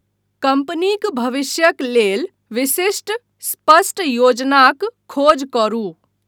कम्पनीक भविष्यक लेल विशिष्ट, स्पष्ट योजनाक खोज करू।